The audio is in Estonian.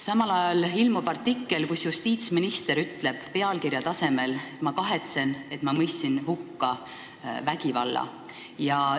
Samal ajal ilmub artikkel, kus justiitsminister ütleb pealkirja tasemel, et ta kahetseb, et ta mõistis vägivalla hukka.